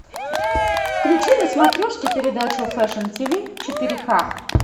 включи на смотрешке передачу фэшн тв четыре к